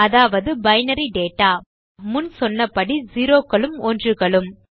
அதாவது binary data முன் சொன்ன படி செரோ க்களும் ஒன்றுகளும்